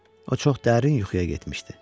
O çox dərin yuxuya getmişdi.